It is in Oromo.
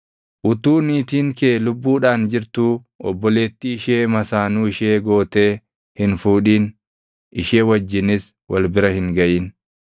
“ ‘Utuu niitiin kee lubbuudhaan jirtuu obboleettii ishee masaanuu ishee gootee hin fuudhin; ishee wajjinis wal bira hin gaʼin.